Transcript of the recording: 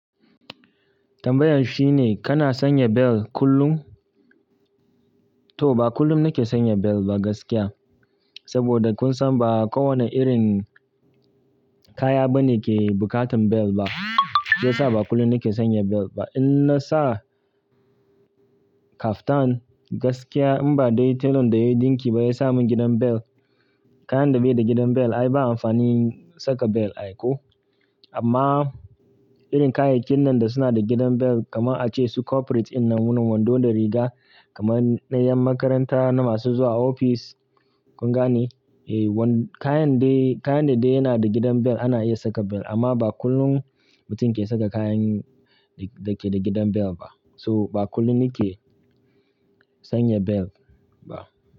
Tambayan shine kana sanya bel kullum? To ba kullum nike sanya bel ba gaskiya. Saboda kun san ba kowane irin kaya bane ke bukatan bel ba. Shi yasa ba kullum nike sanya bel ba. In na sa kaftan gaskiya in ba dai telan da ya dinki ba ya sa mun gidan bel. Kayan da bai da gidan bel ai ba amfani saka bel ai ko. Amma irin kayakin nan da suna da gidan bel kamar ace su corporate in na wani wando da riga, kamar na yan makaranta na masu zuwa ofis, kun gane? Eh kayan dai, kayane dai yana da gidan bel ana iya saka bel amma ba kullum mutum ke saka kayan da ke da gidan bel ba. So ba kullum nike sanya bel ba.